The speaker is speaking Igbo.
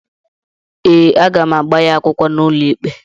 Ee, aga m agba ya akwụkwọ n’ụlọikpe